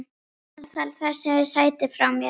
Hann stal þessu sæti frá mér!